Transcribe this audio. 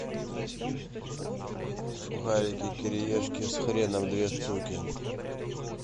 сухарики кириешки с хреном две штуки